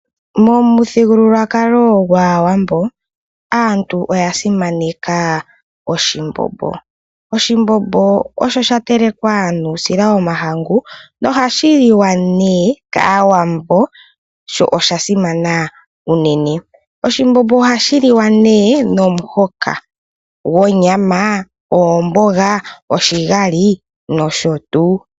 Momuthigululwakalo gwaawambo aantu oya simaneka oshimbombo . Oshimbombo osha telekwa nuusila womahangu nohashi liwa nee kaawambo sho oshasimana unene. Oshimbombo ohashi liwa nee nomuhoka gonyama oomboga oshigali nosho tuu.